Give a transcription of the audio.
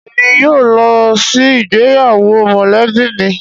Emi yóò lo si igbeyawo molebi mi